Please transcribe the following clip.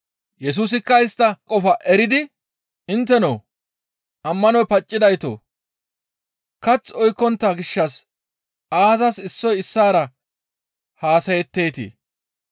Yesusikka istta qofaa eridi, «Intteno ammanoy paccidaytoo! Kath oykkontta gishshas aazas issoy issaara haasayetteetii?